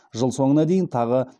жыл соңына дейін тағы